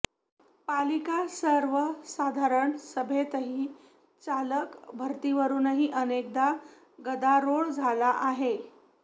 पालिका सर्वसाधारण सभेतही चालक भरतीवरुनही अनेकदा गदारोळ झाला आहे